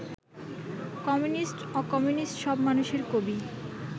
কমিউনিস্ট-অকমিউনিস্ট সব মানুষের কবি